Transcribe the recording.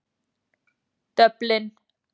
Dublin